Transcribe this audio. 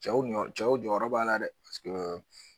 Cɛw cɛw jɔyɔrɔ b'a la dɛ